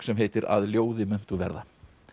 sem heitir að ljóði muntu verða